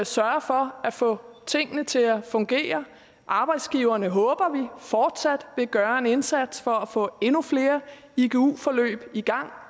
sørge for at få tingene til at fungere arbejdsgiverne håber vi vil fortsat gøre en indsats for at få endnu flere igu forløb i gang